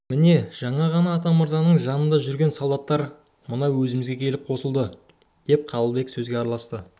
міне жаңа ғана атамырзаның жанында жүрген солдаттар мына өзімізге келіп қосылды деп қабылбек сөзге араласты